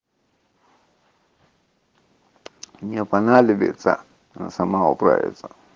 мне понадобится она сама управиться